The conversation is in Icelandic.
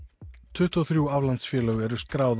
tuttugu og þrjú aflandsfélög eru skráð